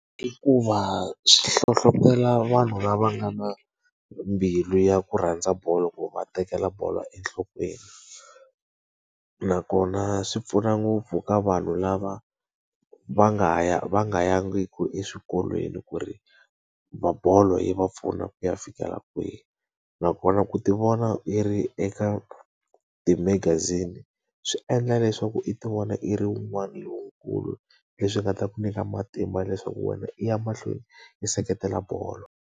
I ku va swi hlohletela vanhu lava nga na mbilu ya ku rhandza bolo ku va tekela bolo enhlokweni. Nakona swi pfuna ngopfu ka vanhu lava va nga ya va nga yangiki eswikolweni ku ri bolo yi va pfuna ku ya fikela kwihi. Nakona ku ti vona yi ri eka timagazini swi endla leswaku i ti vona i ri wun'wani lonkulu leswi nga ta ku nyika matimba leswaku wena i ya mahlweni yi seketela bolo.